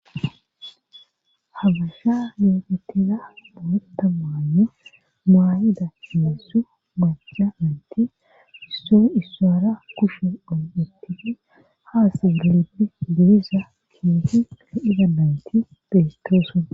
ha gasha geegetiza boota maanne maayida seessu gajcamanti isso isaara kusho dhon7etiti haas gilibdi girisa kiefi le idandanti betooson